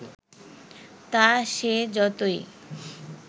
তা সে যতই